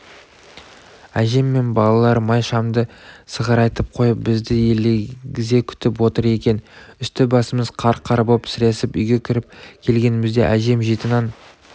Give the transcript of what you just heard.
әжем мен балалар май шамды сығырайтып қойып бізді елегізе күтіп отыр екен үсті-басымыз қар-қар боп сіресіп үйге кіріп келгенімізде әжем жеті нан